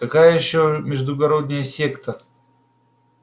какая ещё междугородная секта